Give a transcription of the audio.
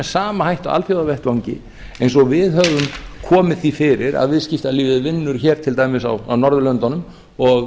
sama hætti á alþjóðavettvangi eins og við höfum komið því fyrir að viðskiptalífið vinnur hér til dæmis á norðurlöndunum og